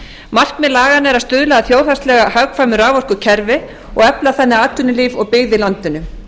markmið laganna er að stuðla að þjóðhagslega hagkvæmu raforkukerfi og efla þannig atvinnulíf og byggð í landinu